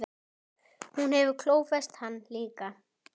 Hún hefur klófest hann líka.